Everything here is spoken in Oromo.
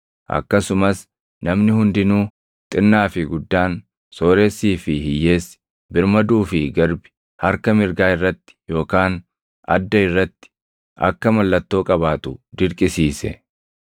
Akkasumas namni hundinuu xinnaa fi guddaan, sooressii fi hiyyeessi, birmaduu fi garbi harka mirgaa irratti yookaan adda irratti akka mallattoo qabaatu dirqisiise;